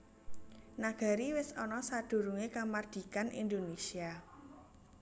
Nagari wis ana sadurungé kamardikan Indonésia